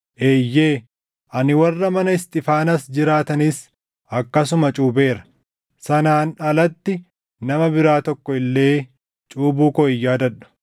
Eeyyee, ani warra mana Isxiifaanaas jiraatanis akkasuma cuupheera; sanaan alatti nama biraa tokko illee cuuphuu koo hin yaadadhu.